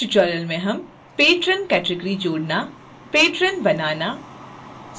इस tutorial में हम patron category जोड़ना